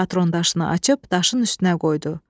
Patron daşını açıb, daşın üstünə qoydu.